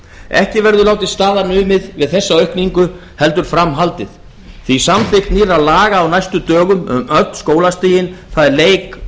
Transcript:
ekki verður látið staðar numið við þessa aukningu heldur fram haldið því að samþykkt nýrra laga á næstu dögum um öll skólastigin það er leik